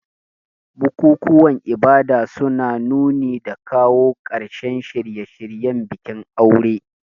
Bukukuwan ibada suna nuni da kawo ƙarshen shirye-shiryen bikin aure.